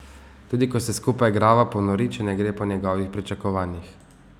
Tudi ko se skupaj igrava, ponori, če ne gre po njegovih pričakovanjih.